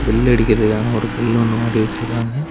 Bell அடிக்கறதுக்கான ஒரு bell ஒன்னு மாட்டி வெச்சுருக்காங்க.